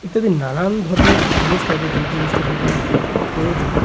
ইত্যাদি নানান ধরনের জিনিস থাকে যে জিনিসটা দোকানে থাকা খুব প্রয়োজন।